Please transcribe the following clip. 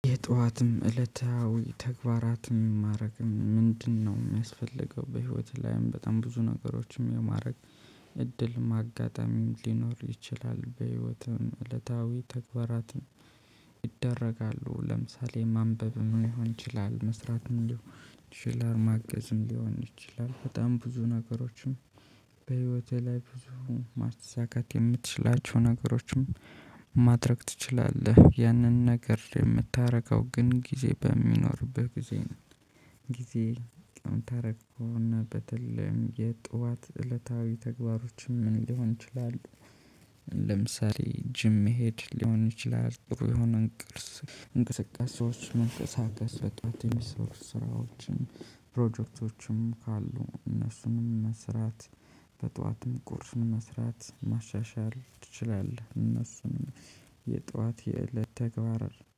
የጧትም እለታዊ ተግባራትም ማድረግም ምንድነው? የሚያስፈልገው በህይወትህ ላይም በጣም ብዙ ነገሮችም የማድረግ እድልም አጋጣሚም ሊኖር ይችላል በህይወትም እለታዊ ተግባራትን። ይደረጋሉ ለምሳሌ ማንበብ ምን ሊሆን ይችላል። መስራት ምን ሊሆን ይችላል። ማገዝም ሊሆን ይችላል በጣም ብዙ ነገሮችን። በህይወቴ ላይ ብዙ ማሳካት የምትችላቸው ነገሮችን ማድረግ ትችላለህ። ያንን ነገር የምታደርገው ግን ጊዜ በሚኖርብህ ጊዜ ነው። ጊዜ ቀን ተረኮና በተለይም የጧት እለታዊ ተግባሮችም ምን ሊሆን ይችላል? ለምሳሌ ጂም መሄድ ሊሆን ይችላል። ጥሩ የሆነን እንቅስቃሴዎች መንቀሳቀስ በጥዋት የሚሰሩ ስራዎችን ፕሮጀክቶችም ካሉ እነሱንም መስራት። በጧትም ቁርስም መስራት ማሻሻል ትችላለህ። እነሱን የጠዋት የእለት ተግባር